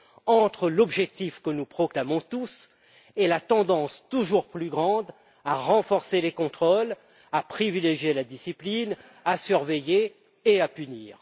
entre l'objectif que nous proclamons tous et la tendance toujours plus grande à renforcer les contrôles, à privilégier la discipline, à surveiller et à punir.